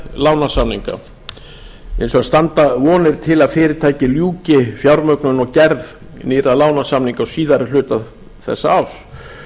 lánasamninga hins vegar standa vonir til að fyrirtækið ljúki fjármögnun og gerð nýrra lánasamninga á síðari hluta þetta ár